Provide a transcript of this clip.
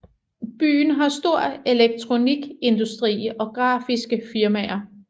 Byen har stor elektronikindustri og grafiske firmaer